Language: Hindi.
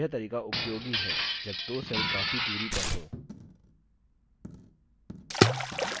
यह तरीका उपयोगी है जब दो cells काफी दूरी पर हों